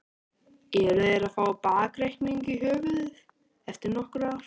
Eru þeir að fá bakreikning í höfuðið eftir nokkur ár?